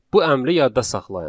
Bu əmri yadda saxlayın.